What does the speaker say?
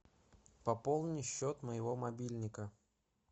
пополни счет моего мобильника